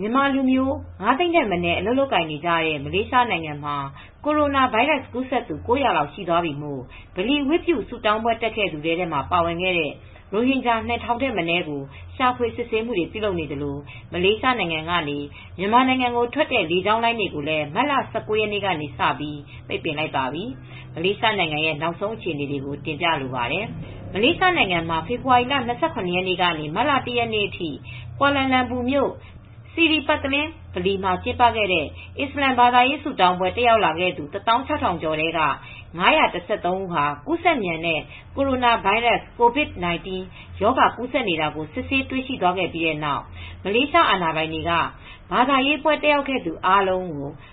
မြန်မာလူမျိုး ၅သိန်းထက်မနည်း အလုပ်လုပ်ကိုင်နေတဲ့ မလေးရှားနိုင်ငံမှာ ကိုရိုနာဗိုင်းရပ်စ် ကူးစက်သူ ၉၀၀ လောက်ရှိသွားပြီမို့ ဗလီဝတ်ပြုဆုတောင်းပွဲတက်ခဲ့သူ ထဲမှာ ပါဝင်တဲ့ရိုဟင်ဂျာ ၂၀၀၀ ထက်မနည်းကိုရှာဖွေ ဆေးစစ်မှုများပြုလုပ်နေသလို မလေးရှားနိုင်ငံကနေ မြန်မာနိုင်ငံကို ထွက်တဲ့လေကြောင်းလိုင်းတွေကိုလည်း မတ်လ ၁၉ရက်ကစပြီး ပိတ်ပစ်လိုက်ပါပြီ ။ အကြောင်းစုံကို မအေးအေးမာက တင်ပြထားပါတယ်။ မလေးရှားနိုင်ငံမှာ ဖေဖေါ်ဝါရီလ ၂၇ ကနေ မတ်လ ၁ ရက် နေ့အထိ ကွာလန်လမ်ပူမြို့ Sri Petaling mosque ဗလီမှာ ကျင်းပခဲ့တဲ့ အစ္စလာမ် ဘာသာရေး ဆုတောင်းပွဲ တက်ရောက်လာသူ ၁၆၀၀၀ ကျော်ထဲက ၅၁၃ ဦးဟာ ကူးဆက်မြန်နေတဲ့ ကိုရိုနာဗိုင်းရပ်စ် Covid-19 ရောဂါ ကူးစက်နေတာ စစ်ဆေး တွေ့ရှိသွားခဲ့ ပြီး နောက် မလေးရှားအာဏာပိုင်တွေဟာ ဘာသာရေး ပွဲတက်ရောက်ခဲ့သူတွေ အားလုံး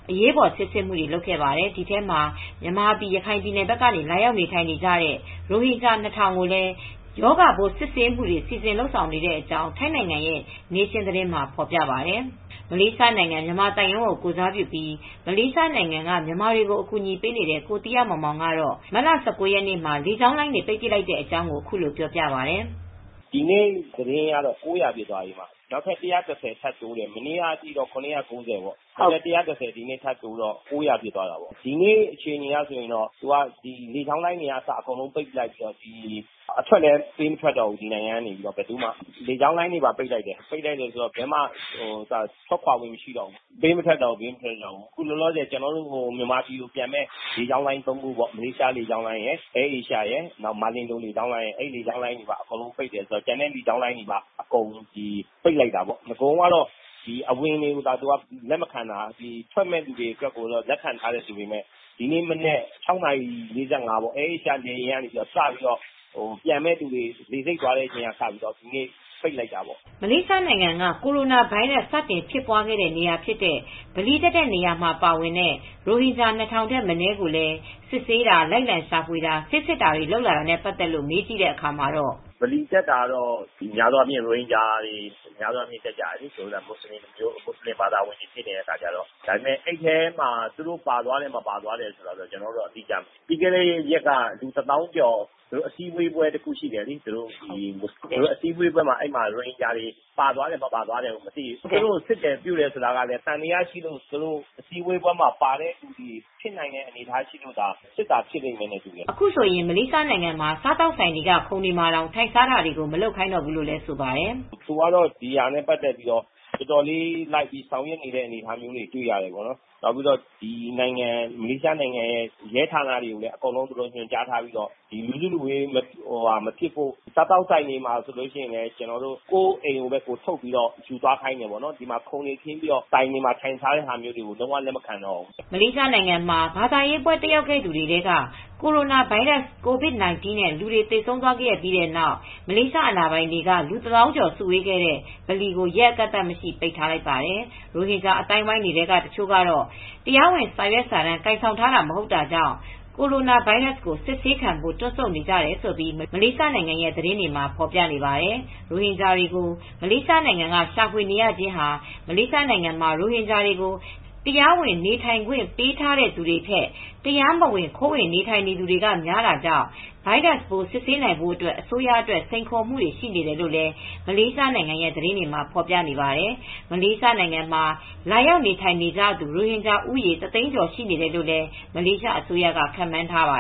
အရေးပေါ် ဆေးစစ်မှုတွေ ပြုလုပ်နေပါတယ်။ ဒီထဲမှာ မြန်မာပြည်၊ ရခိုင်ပြည်နယ်ဘက်ကနေ လာရောက် နေထိုင်နေကြတဲ့ ရိုဟင်ဂျာ ၂၀၀၀ ကိုလည်း ရောဂါပိုး စိစစ်မှုတွေ စီစဉ်လုပ်ဆောင်နေကြောင်း ထိုင်းနိုင်ငံ Nation သတင်းတွေမှာဖော်ပြပါတယ် ။မလေးရှားနိုင်ငံ မြန်မာသံရုံးကိုယ်စားပြုပြီး မလေးရှားနိုင်ငံ မြန်မာတွေအကူအညီပေးနေတဲ့ ကိုသီဟမောင်မောင်ကတော့ မတ်လ ၁၉ ရက်နေ့ကလေကြောင်းလိုင်းတွေ ပိတ်ပစ်လိုက်တဲ့အကြောင်း အခုလိုပြောပြပါတယ်။ “ ဒီနေ့ သတင်းမှာ လူ ၉၀၀ ဖြစ်သွားပြီ။ မနေ့က ထိတော့ ၇၉၀ ဒီနေ့ ၁၁၀ထပ်တိုးတယ် ဆိုတော့ ၉၀၀ဖြစ်သွားတယ်။ ဒီအခြေအနေအရ လေကြောင်းလိုင်းတွေလည်း ပိတ်လိုက်ပြီး အထွက်လည်း ဒီနိုင်ငံကနေ ပေးမထွက်တော့ဘူး။ အခု မြန်မာနိုင်ငံကိုပြန်နေတဲ့ လေကြောင်းလိုင်း ၃ ခုပေါ့ မလေးရှားလေကြောင်းလိုင်းရယ် ၊ Air Asia ရယ် ၊ မာလင်ဒိုလေကြောင်းလိုင်းရယ် အဲဒါတွေပိတ်ပစ်လိုက်တယ် ။ ကျန်တဲ့လေကြောင်းလိုင်း တွေလည်း ပိတ်ပစ်တယ်။ အရင်တုန်းက အဝင်သာလက်မခံတာ ထွက်မယ့်သူတွေကို လက်ခံထားတယ်ဆိုပေမဲ့ ဒီနေ့ မနက် ၆နာရီ ၄၅ ထွက်မယ့် Air Asia လေကြောင်းလိုင်းက နေ စပြီး ပြန်မယ့် သူတွေ လေဆိပ်သွားတဲ့လူတွေကိုလည်း စပြီး ပိတ်လိုက်တာပေါ့။” မလေးရှားနိုင်ငံ ကိုရိုနာဗိုင်းရပ်စ် စတင်ဖြစ်ပွားခဲ့တဲ့ နေရာဖြစ်တဲ့ ဗလီတက်တဲ့ နေရာမှာပါဝင်တဲ့ ရိုဟင်ဂျာ ၂၀၀၀ထက်မနည်း ကိုလည်း စစ်ဆေးတာ၊ လိုက်လံရှာဖွေတာ၊ ဆေးစစ်တာတွေ လုပ်လာတာနဲ့ ပတ်သက်လို့ မေးကြည့်တဲ့ အခါမှာတော့ “ဗလီတက်တာတော့ ရိုဟင်ဂျာတွေ များသောအားဖြင့်က တက်တာပေါ့ ။ မူဆလင်ဘာသာဝင်တွေဆိုတော့ အဲဒီထဲမှာ သူတို့ ပါသွားတယ်၊ မပါဘူးဆိုတာကျနော်တို့က အတိအကျမသိဘူး ။ ဒါပေမဲ့ ပြီးခဲ့တဲ့ ရက်တွေတုန်းက သူတို့ အစည်းအဝေးတွေလုပ်တယ်။ လူတသောင်းကျော်လုပ်တာ အဲဒီမှာ ရိုဟင်ဂျာတွေပါသွားတယ် မပါဘူးဆိုတာ အတိအကျမသိဘူး ဒါပေမယ့် သူတို့ကိုစစ်တယ်ဆိုတာကလည်း သံသယရှိလို့အစည်းအဝေးမှာပါသွားလို့သာစစ်တာဖြစ်မယ်” အခုဆိုရင် မလေးရှားနိုင်ငံမှာ စားသောက်ဆိုင်တွေက ခုံတွေမှာ ထိုင်စားတာတွေတောင် မလုပ်ခိုင်းတော့ဘူးလို့ ဆိုပါတယ်။ “အခုက ဒါနဲ့ ပတ်သက်ပြီးတော့ တော်တော်လေး ဆောင်ရွက်နေနတဲ့ အနေအထားတွေ တွေ့ရတယ်။ မလေးရှားနိုင်ငံ ရဲ ဌာနတွေကတော့အကုန်ညွန်ကြားထားတာ လူစုလူဝေးမလုပ်ဖို့ ၊ စားသောက်ဆိုင်တွေ ကလည်း အခု အိမ်ကိုပဲ ထုတ်ယူခိုင်းတယ် ။ ခုံတွေနဲ့ ထိုင်စားတာတွေ မလုပ်တော့ဘူး။” ဘာသာရေးပွဲတက်ရောက်သူ တွေထဲက ကိုရိုနာဗိုင်းရပ်စ် Covid-19 နဲ့ လူတွေသေဆုံးသွားခဲ့ပြီးတဲ့နောက် မလေး အာဏာပိုင်တွေဟာ လူတသောင်းကျော်စုဝေးခဲ့တဲ့ ဗလီလို ရက်အကန့်သတ်မရှိ ပိတ်ထားခဲ့ပါတယ်။ ရိုဟင်ဂျာအသိုင်းတွေထဲက တချို့ကတော့ တရားဝင်စာရွက်စာတမ်း ကိုင်ဆောင်ထားတာမဟုတ်တာကြောင့် coronavirus ကိုစစ်ဆေးခံဖို့ တွန့်ဆုတ်နေကြတယ်လို့ မလေးရှားနိုင်ငံရဲ သတင်းတွေမှာ ဖော်ပြပါတယ်။ ရိုဟင်ဂျာတွေကို မလေးရှားနိုင်ငံကရှာဖွေရခြင်းဟာ မလေးရှားနိုင်ငံမှာ ရိုဟင်ဂျာတွေကို တရားဝင် နေထိုင်ခွင့်ပေးထားသူတွေထက် တရားမဝင်ခိုးဝင်နေထိုင်နေတွေ များတာကြောင့် ဗိုင်းရပ်စ်ပိုး စစ်ဆေးနိုင်ဖို့အတွက် အစိုးရအတွက် စိန်ခေါ်မူတွေ ရှိတယ်လို့ မလေးရှားနိုင်ငံ သတင်းတွေမှာဖော်ပြနေပါတယ်။မလေးရှားနိုင်ငံမှာ လာရောက်နေထိုင်နေကြတဲ့ ရိုဟင်ဂျာ ဦးရေ တစ်သိန်းကျော် ရှိနေတယ်လို့မလေးရှားအစိုးရက ခန့်မှန်းထားပါ